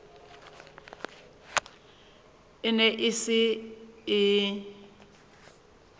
e ne e se e